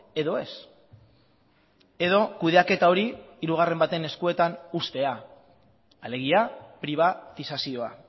edo ez edo kudeaketa hori hirugarren baten eskuetan uztea alegia pribatizazioa